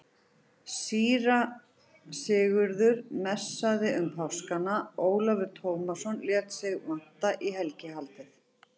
Síra Sigurður messaði um páskana, Ólafur Tómasson lét sig vanta í helgihaldið.